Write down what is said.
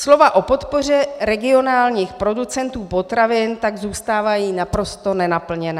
Slova o podpoře regionálních producentů potravin tak zůstávají naprosto nenaplněná.